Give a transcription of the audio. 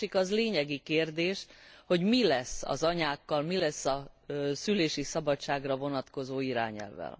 A másik az lényegi kérdés, hogy mi lesz az anyákkal, mi lesz a szülési szabadságra vonatkozó irányelvvel.